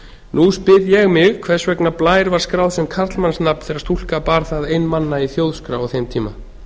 nú spyr ég mig hvers vegna blær var skráð sem karlmannsnafn þegar stúlka bar það ein manna í þjóðskrá á þeim tíma